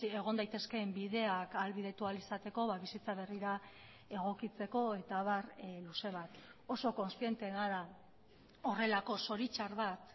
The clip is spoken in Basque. egon daitezkeen bideak ahalbidetu ahal izateko bizitza berrira egokitzeko eta abar luze bat oso kontziente gara horrelako zoritxar bat